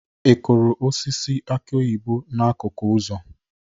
Ị kụrụ osisi aki oyibo n'akụkụ ụzọ?